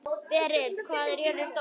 Berit, hvað er jörðin stór?